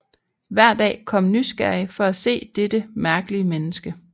Hver dag kom nysgerrige for at se dette mærkelige menneske